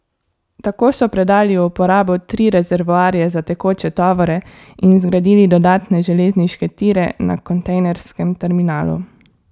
Tako so predali v uporabo tri rezervoarje za tekoče tovore in zgradili dodatne železniške tire na kontejnerskem terminalu.